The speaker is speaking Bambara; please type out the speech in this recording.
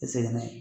I segin na